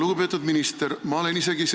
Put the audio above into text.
Lugupeetud minister!